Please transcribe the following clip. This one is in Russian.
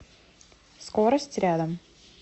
скорость рядом